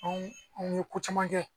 Anw anw ye ko caman kɛ